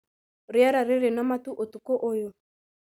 Rĩera rĩrĩ na matu ũtukũ ũyũ